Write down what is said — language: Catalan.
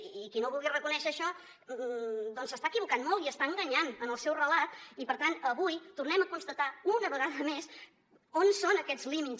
i qui no vulgui reconèixer això doncs s’està equivocant molt i està enganyant en el seu relat i per tant avui tornem a constatar una vegada més on són aquests límits